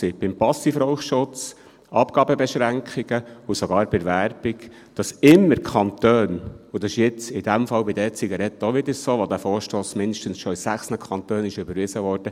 Beim Passivrauchschutz, Abgabebeschränkungen und sogar bei der Werbung haben immer die Kantone Druck gemacht, wobei es in diesem Fall bei den E-Zigaretten auch wieder so ist, aber dieser Vorstoss mindestens schon in sechs Kantonen überwiesen wurde.